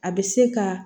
A bɛ se ka